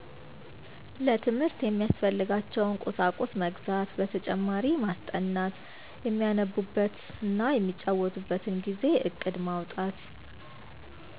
ለትምህርት የሚያስፈልጋቸዉን ቁሳቁስ መግዛት በተጨማሪ ማስጠናት የሚያነቡበት እና የሚጫወቱበትን ጊዜ እቅድ ማዉጣት